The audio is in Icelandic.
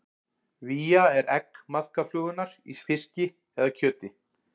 Vía er egg maðkaflugunnar í fiski eða kjöti.